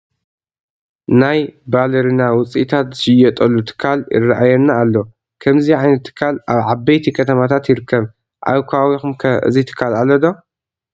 ናይ ባልርና ውፅኢታት ዝሽየጠሉ ትካል ይርአየና ኣሎ፡፡ ከምዚ ዓይነት ትካል ኣብ ዓበይቲ ከተማታት ይርከብ፡፡ ኣብ ከባቢኹም ከ እዚ ትካል ኣሎ ዶ?